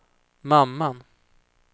mamman